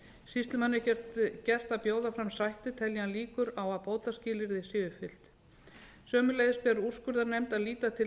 sýslumanni er gert að bjóða fram sættir telji hann líkur á að bótaskilyrði séu uppfyllt sömuleiðis ber úrskurðarnefnd að líta til